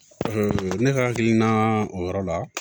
ne ka hakilina o yɔrɔ la